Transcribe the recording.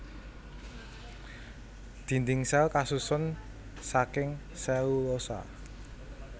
Dhindhing sèl kasusun saking selulosa